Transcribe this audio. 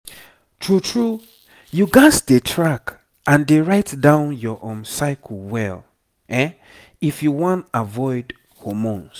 true true you gats dey track and dey write down your um cycle well if you wan avoid hormones